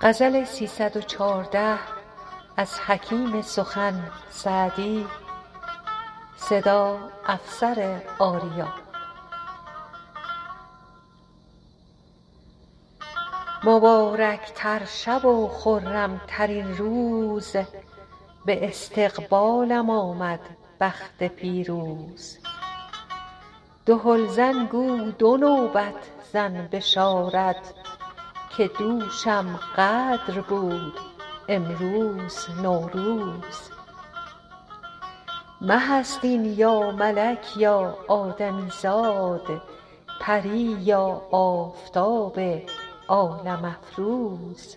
مبارک تر شب و خرم ترین روز به استقبالم آمد بخت پیروز دهل زن گو دو نوبت زن بشارت که دوشم قدر بود امروز نوروز مه است این یا ملک یا آدمی زاد پری یا آفتاب عالم افروز